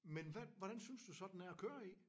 Men hvad hvordan synes du så den er at køre i?